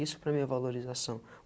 Isso para a mim é valorização.